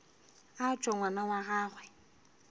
a tšwe ngwana wa gagwe